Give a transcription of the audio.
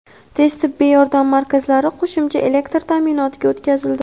tez tibbiy yordam markazlari qo‘shimcha elektr ta’minotiga o‘tkazildi.